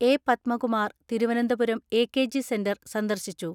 A. Padmakumar Thiruvananthapuram AKG centre സന്ദർശിച്ചു.